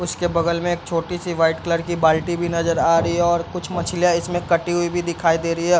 उसके बगल में एक छोटी-सी वाइट कलर की बाल्टी भी नजर आ रही है और कुछ मछलियां इसमें कटी हुवी भी दिखाई दे रही है।